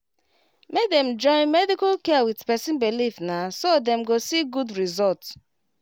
make dem join medical care with person believe na so dem go see good result